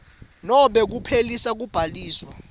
nobe kuphelisa kubhaliswa